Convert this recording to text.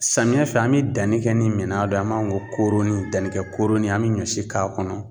Samiya fɛ an mi danni kɛ ni mina dɔ ye an b'a ɔn ko kooroni dannikɛ kooroni an be ɲɔ si k'a kɔnɔ